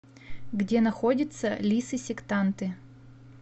где находится лисы сектанты